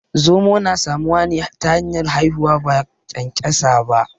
Zomo na samuwa ne ta hanyar haihuwa ba ƙyanƙyasa ba